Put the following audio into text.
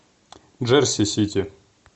джерси сити